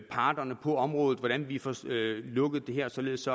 parterne på området om hvordan vi får lukket det her således